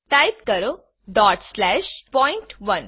type કરો point1